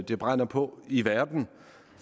det brænder på i verden